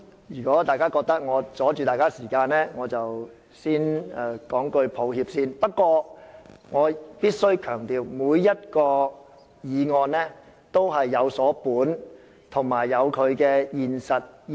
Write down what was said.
如果大家覺得我阻礙你們的時間，我先向大家說聲抱歉。不過，我必須強調我每一項議案均有所本，有其現實意義。